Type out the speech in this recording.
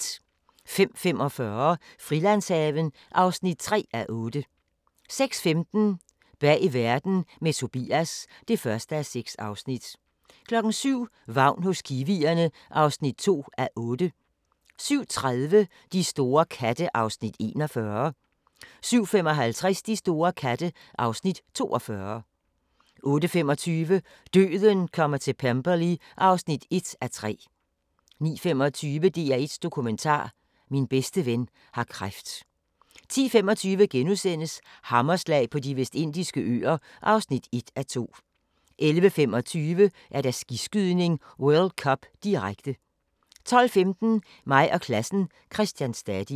05:45: Frilandshaven (3:8) 06:15: Bag verden – med Tobias (1:6) 07:00: Vagn hos kiwierne (2:8) 07:30: De store katte (Afs. 41) 07:55: De store katte (Afs. 42) 08:25: Døden kommer til Pemberley (1:3) 09:25: DR1 Dokumentar: Min bedste ven har kræft 10:25: Hammerslag på De Vestindiske Øer (1:2)* 11:25: Skiskydning: World Cup, direkte 12:15: Mig og klassen - Christian Stadil